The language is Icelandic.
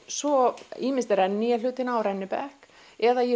svo ýmist renni ég hlutina á rennibekk eða ég